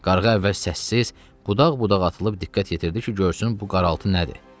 Qarğa əvvəl səssiz, qudaq-qudaq atılıb diqqət yetirdi ki, görsün bu qaraltı nədir.